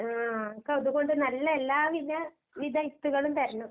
ആഹ് ഇക്ക് അതുകൊണ്ട് നല്ല എല്ലാ വില വിധ വിത്തുകളും തരണം.